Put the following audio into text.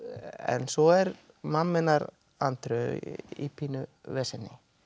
en svo er mamma hennar Andreu í pínu veseni